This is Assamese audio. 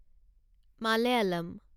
মালায়ালম